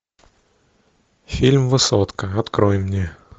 фильм высотка открой мне